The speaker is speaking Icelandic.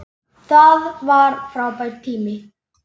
Það var frábær tími.